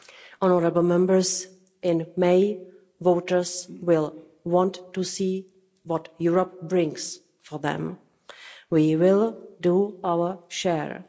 Honourable Members, in May, voters will want to see what Europe brings for them. We will do our share.